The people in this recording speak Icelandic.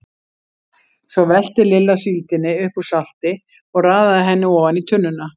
Svo velti Lilla síldinni upp úr salti og raðaði henni ofan í tunnuna.